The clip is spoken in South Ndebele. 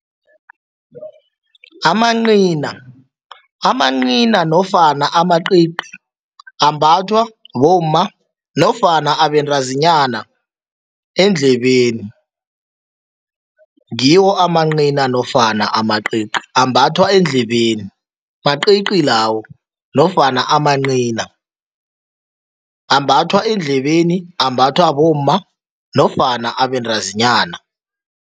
Amancina, amancina nofana amacici ambathwa bomma nofana abentazinyana eendlebeni, ngiwo amancina nofana amacici. Ambathwa eendlebeni, macici lawo nofana amancina. Ambathwa eendlebeni, ambathwa bomma nofana abentazinyana.